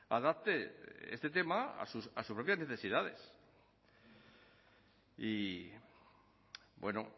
adapte este tema a sus propias necesidades y bueno